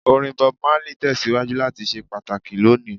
Orin Bob Marley tẹsiwaju lati ṣe pataki loni.